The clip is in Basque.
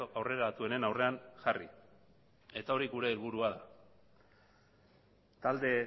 aurreratuenen aurrean jarri eta hori gure helburua da talde